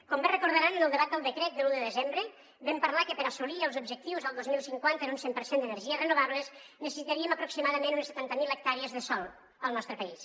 com bé recordaran en el debat del decret de l’un de desembre vam parlar que per assolir els objectius el dos mil cinquanta en un cent per cent d’energies renovables necessitaríem aproximadament unes setanta mil hectàrees de sòl al nostre país